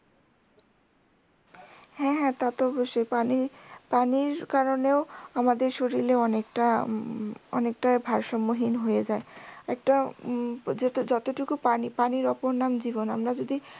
হ্যা হ্যা তা তো অবশ্যই পানির পানির কারণেও আমাদের শরীরে অনেকটা উম অনেকটা ভারসাম্যহীন হয়ে যায় একটা উম যতটুকু পানি পানির ওপর নাম জীবন আমরা যদি